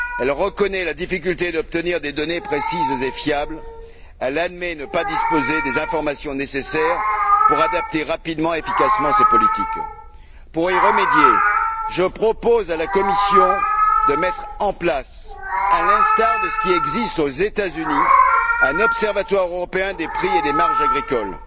Elle reconnaît la difficulté d'obtenir des données précises et fiables, et admet ne pas disposer des informations nécessaires pour adapter rapidement et efficacement ses politiques. Pour y remédier, je propose à la Commission de mettre en place à l'instar de ce qui existe aux États Unis un observatoire européen des prix et des marges agricoles.